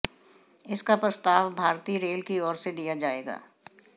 इसका प्रस्ताव भारतीय रेल की ओर से दिया जाएगा